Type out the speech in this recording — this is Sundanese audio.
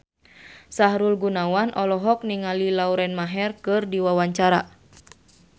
Sahrul Gunawan olohok ningali Lauren Maher keur diwawancara